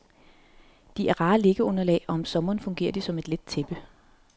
De er rare liggeunderlag og om sommeren fungerer de som et let tæppe.